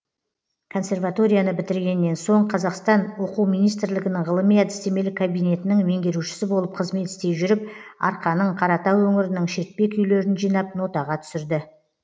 консерваторияны бітіргенен соң қазақстан оқу министрлігінің ғылыми әдістемелік кабинетінің меңгерушісі болып қызмет істей жүріп арқаның қаратау өңірінің шертпе күйлерін жинап нотаға түсірді